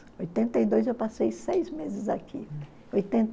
oitenta e dois, eu passei seis meses aqui. Oitenta